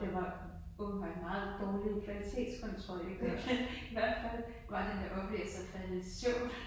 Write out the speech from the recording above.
Og det var åbenbart en meget dårlig kvalitetskontrol i hvert fald var den der oplæser faldet i søvn